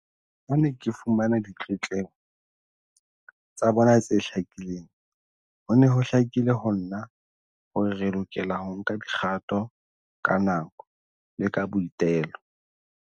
Ha ke ne ke fumana ditletlebo tsa bona tse hlakileng, ho ne ho hlakile ho nna hore re lokela ho nka dikgato ka nako le ka boitelo.